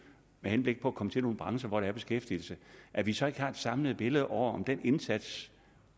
med henblik på at komme til nogle brancher hvor der er beskæftigelse at vi så ikke har et samlet billede over om den indsats